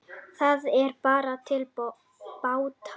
Það er bara til bóta